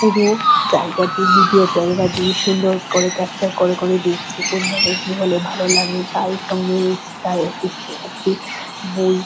পুরো জায়গাটি video camera দিয়ে সুন্দর করে ক্যাপচার করে করে দেখছে কোন জায়গায় কি হলে ভালো লাগবে তাঁরই সঙ্গে রয়েছে তার অ্যাসিস্ট্যান্ট একটি বই--